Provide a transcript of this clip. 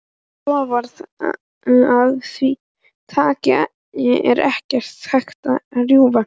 Loforð af því tagi er ekki hægt að rjúfa.